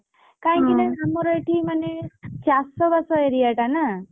କାଇଁକି ନା ଆମର ଏଠି ମାନେ ଚାଷ ବାସ area ଟା ନା!